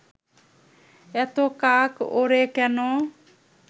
এত কাক ওড়ে কেন